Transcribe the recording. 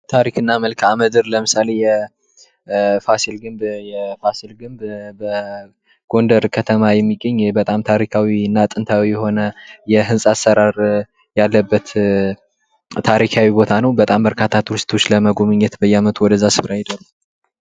ታሪክና መልካምድር ለምሳሌ የፋሲል ግንብ በጎንደር ከተማ የሚገኝ በጣም ታሪካዊ እና ጥንታዊ የሆነ የሕንፃ አሰራር ያለበት ታሪካዊ ቦታ ነዉ። በርካታ ቱሪስቶች ለመጎብኘት በየዓመቱ ወደ ዚያ ስፍራ ይሄዳሉ።